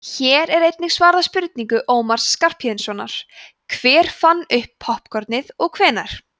hér er einnig svarað spurningu ómars skarphéðinssonar „hver fann upp poppkornið og hvenær“